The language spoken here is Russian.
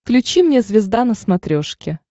включи мне звезда на смотрешке